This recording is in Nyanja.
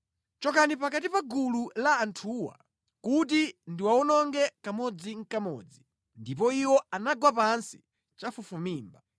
“Chokani pakati pa gulu la anthuwa kuti ndiwawononge kamodzinʼkamodzi.” Ndipo iwo anagwa pansi chafufumimba.